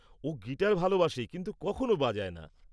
-ও guitar ভালোবাসে কিন্তু কখনো বাজায় না।